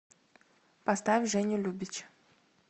поставь женю любич